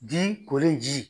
Ji kolen ji.